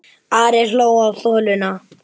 Ari hjó á þuluna.